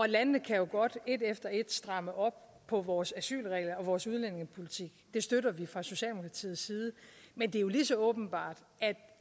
lande kan jo godt et efter et stramme op på vores asylregler og vores udlændingepolitik det støtter vi fra socialdemokratiets side men det er jo lige så åbenbart at